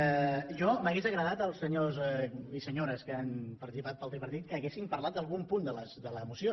a mi m’hauria agradat que els senyors i senyores que han participat pel tripartit haguessin parlat d’algun punt de la moció